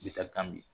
Bɛta kan bi